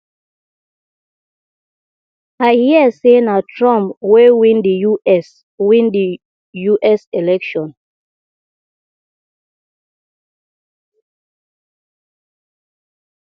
i hear say na trump wey win the us win the us election